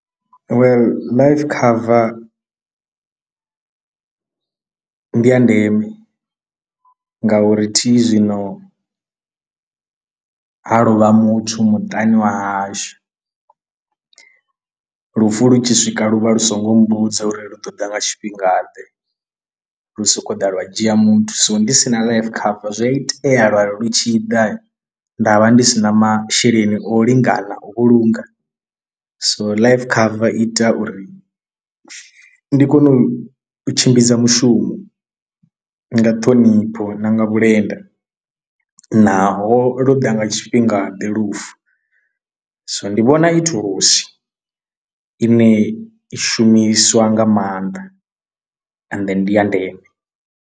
Well life cover ndi ya ndeme ngauri thi zwino ha lovha muthu muṱani wa hashu lufu lu tshi swika lu vha lu so ngo mbudza uri lu ṱoḓa nga tshifhinga ḓe lu soko ḓa lwa dzhia muthu, so ndi sina life cover zwi a itea lwari lu tshi ḓa nda vha ndi si na masheleni o lingana u vhulunga. So life cover ita uri ndi kone u tshimbidza mushumo nga ṱhonipho na nga vhulenda naho lwo ḓa nga tshifhinga ḓe lufu, so ndi vhona i thulusi ine i shumiswa nga maanḓa ende ndi ya ndeme